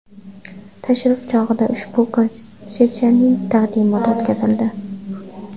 Tashrif chog‘ida ushbu konsepsiyaning taqdimoti o‘tkazildi.